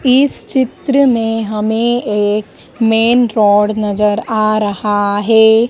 इस चित्र में हमें एक मेन रोड नजर आ रहा है।